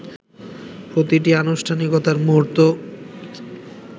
প্র্রতিটি আনুষ্ঠানিকতার মুহুর্ত